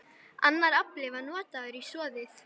Annar afli var notaður í soðið.